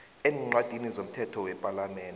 eencwadini zomthetho wepalamende